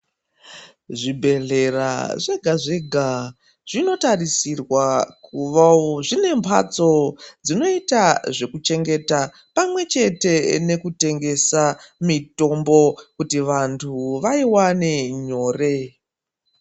ZviBhedhlera zvega zvega zvinotarisirwa kuvawo zvine mbatso dzinoita zvekuchengeta pamwe chete nekutengesa mitombo kuti vanthu vaiwane nyore.